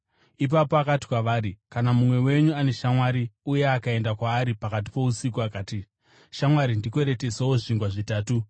Ipapo akati kwavari, “Kana mumwe wenyu ane shamwari, uye akaenda kwaari pakati pousiku akati, ‘Shamwari, ndikweretesewo zvingwa zvitatu,